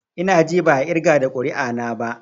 I na ji ba a irga da ƙuri'a na ba.